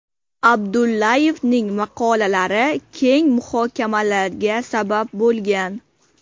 Abdullayevning maqolalari keng muhokamalarga sabab bo‘lgan.